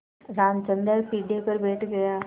रामचंद्र पीढ़े पर बैठ गया